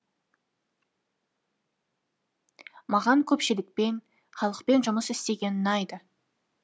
маған көпшілікпен халықпен жұмыс істеген ұнайды